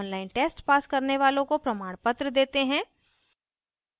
online test pass करने वालों को प्रमाणपत्र देते हैं